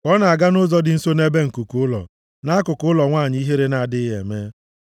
ka ọ na-aga nʼụzọ dị nso ebe nkuku ụlọ nʼakụkụ ụlọ nwanyị ihere na-adịghị eme,